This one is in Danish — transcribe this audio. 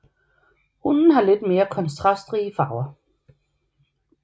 Hunnen har lidt mere kontrastrige farver